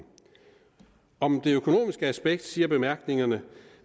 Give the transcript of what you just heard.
om det økonomiske aspekt siger bemærkningerne